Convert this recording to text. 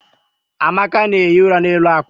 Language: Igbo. amaka na-ehi ụra n'elu akwa.